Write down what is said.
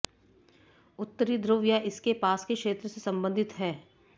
उत्तरी ध्रुव या इसके पास के क्षेत्र से संबंधित है